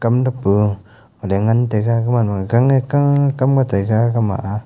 um dap pa alle ngan taiga gamanma gang e kakam ga taiga gama aa.